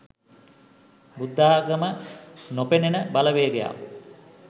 බුද්ධාගම නොපෙනෙනෙන බලවේගයක්